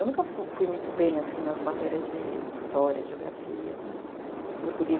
Eu nunca fui muito bem, assim, nas matérias de história, geografia, português.